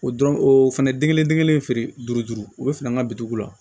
O dɔrɔn o fɛnɛ den kelen den kelen feere duuru duuru o bɛ feere an ka bitugu la